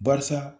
Barisa